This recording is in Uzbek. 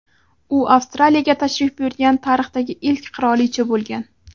U Avstraliyaga tashrif buyurgan tarixdagi ilk qirolicha bo‘lgan.